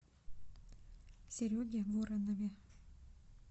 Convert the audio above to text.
сереге воронове